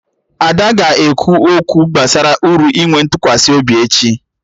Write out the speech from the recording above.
Ada ga-ekwu okwu gbasara uru inwe ntụkwasị obi echi